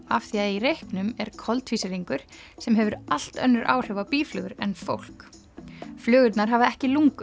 af því að í reyknum er koltvísýringur sem hefur allt önnur áhrif á býflugur en fólk flugurnar hafa ekki lungu